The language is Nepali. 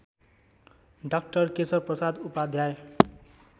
डा केशवप्रसाद उपाध्याय